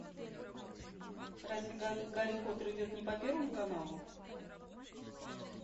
разве гарри поттер идет не по первому каналу